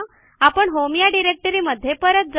आपण होम या डिरेक्टरीमध्ये परत जाऊ